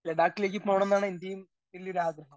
Speaker 1 ലഡാക്കിലേക്ക് പോണം എന്നാണ് എന്റെയും വലിയൊരു ആഗ്രഹം.